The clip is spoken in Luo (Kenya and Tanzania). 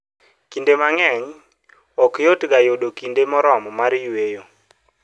Kinde mang'eny, ok yotga yudo kinde moromo mar yueyo.